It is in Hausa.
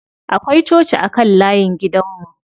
Akwai coci a kan layin gidan mu.